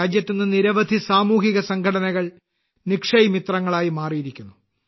രാജ്യത്ത് ഇന്ന് നിരവധി സാമൂഹിക സംഘടനകൾ നിക്ഷയ് മിത്രങ്ങളായി മാറിയിരിക്കുന്നു